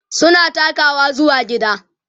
suna takawa zuwa gida